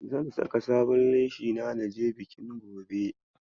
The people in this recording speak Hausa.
Zan saka sabon leshina na je bikin gobe.